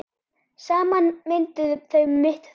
Saman mynduðu þau mitt þorp.